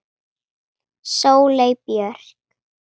Sóley Björk